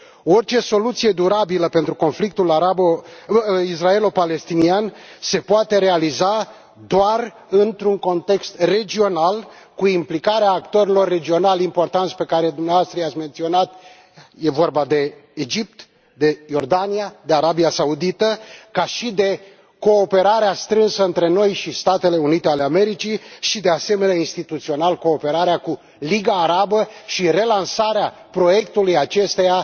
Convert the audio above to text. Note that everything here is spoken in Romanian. Orice soluție durabilă pentru conflictul israelo palestinian se poate realiza doar într un context regional, cu implicarea actorilor regionali importanți pe care dumneavoastră i ați menționat e vorba de Egipt, de Iordania, de Arabia Saudită și prin cooperarea strânsă între noi și Statele Unite ale Americii și, de asemenea, instituțional, prin cooperarea cu Liga Arabă și relansarea proiectului acesteia,